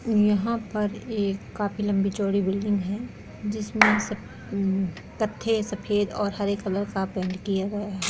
यहां पर एक काफी लम्बी चौड़ी बिल्डिंग है जिसमे सफ ऊ एम कथहे सफ़ेद और हरे कलर का पैंट किया हुए है।